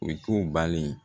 U k'u bali